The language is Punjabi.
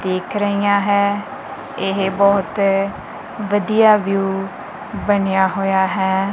ਦਿਖ ਰਹੀਆਂ ਹੈ ਇਹ ਬਹੁਤ ਵਧੀਆ ਵਿਊ ਬਣਿਆ ਹੋਇਆ ਹੈ।